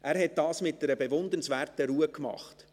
Er hat das mit einer bewundernswerten Ruhe gemacht.